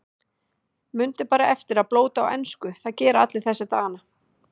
Mundu bara eftir að blóta á ensku, það gera allir þessa dagana.